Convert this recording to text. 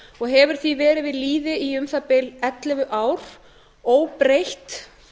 og hefur því verið við lýði í um það bil ellefu ár óbreytt